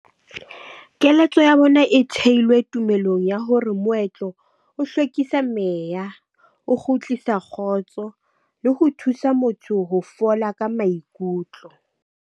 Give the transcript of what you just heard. Keletso ya bona e theilwe tumelong ya hore moetlo o hlwekisa meya, o kgutlisa kgotso, le ho thusa motho ho fola ka maikutlo.